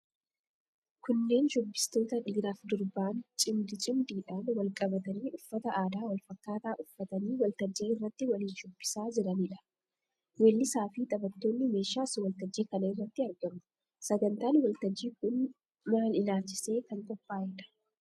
Kunneen shubbistoota dhiiraaf durbaan, cimdii cimdiidhaan wal qabatanii, uffata aadaa wal fakkaataa uffatanii waltajjii irratti waliin shubbisaa jiraniidha. Weellisaafi taphattoonni meeshaas waltajjii kana irratti argamu. Sagantaan waltajjii kun maal ilaalchisee kan qophaa'eedha?